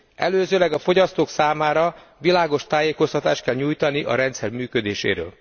Előzőleg a fogyasztók számára világos tájékoztatást kell nyújtani a rendszer működéséről.